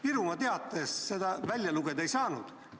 Virumaa Teatajast seda välja lugeda ei saanud.